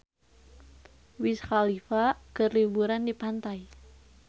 Wiz Khalifa keur liburan di pantai